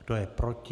Kdo je proti?